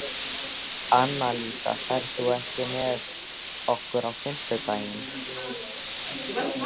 Annalísa, ferð þú með okkur á fimmtudaginn?